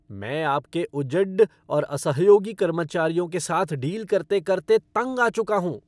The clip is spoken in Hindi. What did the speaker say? मैं आपके उजड्ड और असहयोगी कर्मचारियों के साथ डील करते करते तंग आ चुका हूँ।